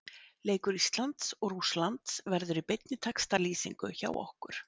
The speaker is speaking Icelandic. Leikur Íslands og Rússlands verður í beinni textalýsingu hjá okkur.